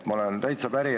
Ma olen täitsa päri.